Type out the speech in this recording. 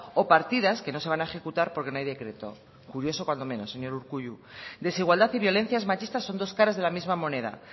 o partidas que no se van a ejecutar porque no hay decreto curioso cuanto menos señor urkullu desigualdad y violencias machistas son dos caras de la misma moneda